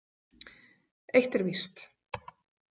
Eitt er víst.